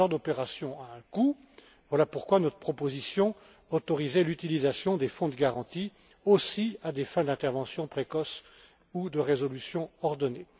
Ce genre d'opérations a un coût, voilà pourquoi notre proposition autorisait l'utilisation des fonds de garantie aussi à des fins d'intervention précoce ou de résolution ordonnée.